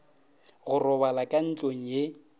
go robala ka ntlong ye